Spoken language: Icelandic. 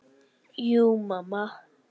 Jú mamma.